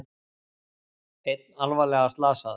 Einn alvarlega slasaður